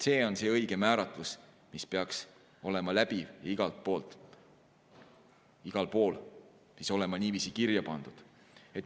See on see õige määratlus, mis peaks olema läbiv igal pool ja peaks olema niiviisi kirja pandud.